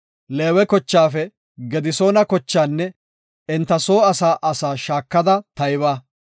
“Leewe kochaafe Gedisoona kochaanne enta soo asaa asaa shaakada tayba.